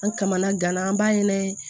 An kamana gana an b'a ɲini